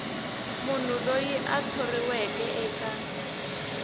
munhu loyi a thoriweke eka